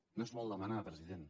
no és molt demanar president